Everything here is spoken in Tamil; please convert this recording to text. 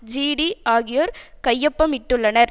ஜிடி ஆகியோர் கையொப்பமிட்டுள்ளனர்